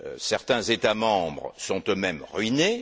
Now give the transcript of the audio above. Certains États membres sont eux mêmes ruinés